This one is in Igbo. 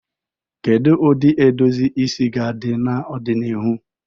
Kedu ụdị edozi isi ga-adị n'ọdịnihu?